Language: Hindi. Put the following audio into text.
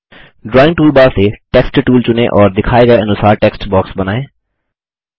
ड्राइंग टूलबार से टेक्स्ट टूल चुनें और दिखाए गए अनुसार टेक्स्ट बॉक्स बनाएँ